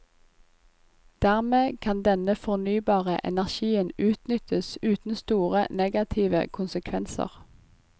Dermed kan denne fornybare energien utnyttes uten store negative konsekvenser.